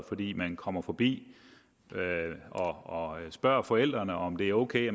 fordi man kommer forbi og spørger forældrene om det er ok